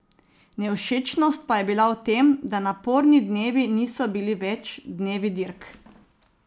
Nevšečnost pa je bila v tem, da naporni dnevi niso bili več dnevi dirk.